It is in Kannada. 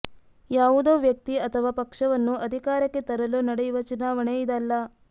ಯಾವುದೋ ವ್ಯಕ್ತಿ ಅಥವಾ ಪಕ್ಷವನ್ನು ಅಧಿಕಾರಕ್ಕೆ ತರಲು ನಡೆಯುವ ಚುನಾವಣೆ ಇದಲ್ಲ